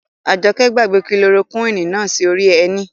Àjọkẹ́ gbàgbé kilorokúwìnì náà sí orí ẹní